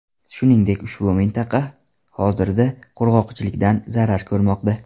Shuningdek, ushbu mintaqa hozirda qurg‘oqchilikdan zarar ko‘rmoqda.